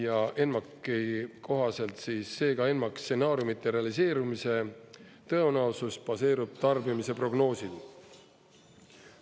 ENMAK-i kohaselt seega ENMAK-i stsenaariumide realiseerumise tõenäosus baseerub tarbimise prognoosil.